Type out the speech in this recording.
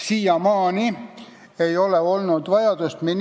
Siiamaani ei ole olnud vajadust midagi muuta.